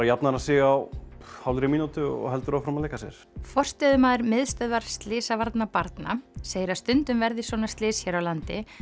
jafnar hann sig á hálfri mínútu og heldur áfram að leika sér forstöðumaður Miðstöðvar slysavarna barna segir að stundum verði svona slys hér á landi